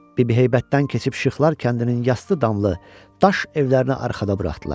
Bibi heybətdən keçib Şıxlar kəndinin yastı damlı daş evlərini arxada buraxdılar.